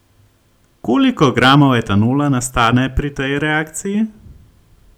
Koliko gramov etanola nastane pri tej reakciji?